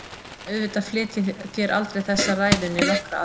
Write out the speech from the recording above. En auðvitað flyt ég þér aldrei þessa ræðu né nokkra aðra.